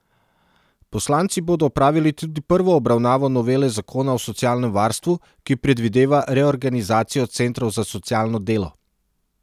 Poslanci bodo opravili tudi prvo obravnavo novele zakona o socialnem varstvu, ki predvideva reorganizacijo centrov za socialno delo.